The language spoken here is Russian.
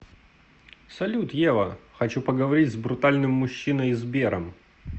салют ева хочу поговорить с брутальным мужчиной сбером